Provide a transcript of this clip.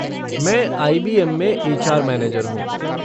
मैं आई.बी.एम. में HR. Manager हूँ।